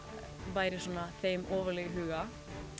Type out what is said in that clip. væri þeim ofarlega í huga